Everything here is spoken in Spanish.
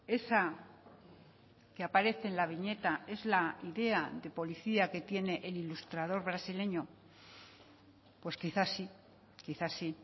esa que aparece en la viñeta es la idea de policía que tiene el ilustrador brasileño pues quizás sí quizás sí